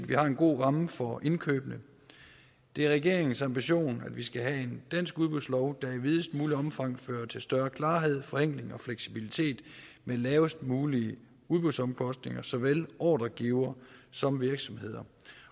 vi har en god ramme for indkøbene det er regeringens ambition at vi skal have en dansk udbudslov der i videst muligt omfang fører til større klarhed forenkling og fleksibilitet med lavest mulige udbudsomkostninger for såvel ordregivere som virksomheder